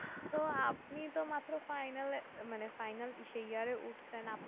তো আপনি তো মাত্র final মানে ইসে year এ উঠছেন